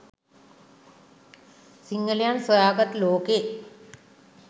සිංහලයන් සොයා ගත් ලෝකෙ